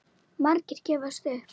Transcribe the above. Margir gefast upp.